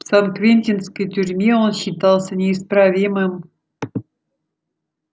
в сан квентинской тюрьме он считался неисправимым